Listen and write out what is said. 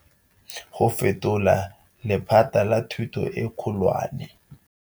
Go fetola lephata la thuto e kgolwane.